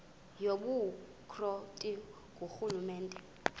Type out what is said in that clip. yobukro ti ngurhulumente